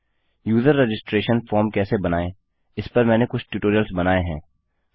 user registration form कैसे बनायें इस पर मैंने कुछ ट्यूटोरियल्स बनायें हैं